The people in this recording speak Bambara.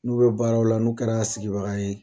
N'u bɛ baaraw la n'u kɛra sigibaga ye